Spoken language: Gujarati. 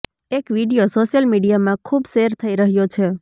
એક વીડિયો સોશિયલ મીડિયામાં ખુબ શેર થઈ રહ્યો છે